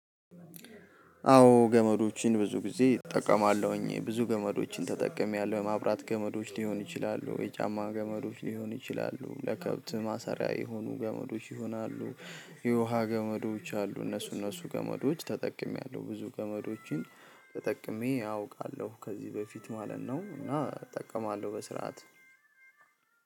አዎ ገመዶችን ብዙ ጊዜ እጠቀማለሁኝ ብዙ ገመዶችን ተጠቅሜያለሁ የማብራት ገመዶች ሊሆኑ ይችላ፣ የጫማ ገመዶች ሊሆኑ ይችላሉ፣ ለከብት ማሰሪያ የሆኑ ገመዶች ይሆናሉ። የውሃ ገመዶች አሉ እነሱ እነሱ ገመዶች ተጠቅሜያለሁ ብዙ ገመዶችን። ተጠቅሜ አውቃለሁ ከዚህ በፊት ማለት ነው እና እጠቀማለሁ በስርዓት